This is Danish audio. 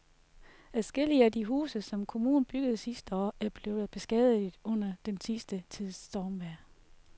Adskillige af de huse, som kommunen byggede sidste år, er blevet beskadiget under den sidste tids stormvejr.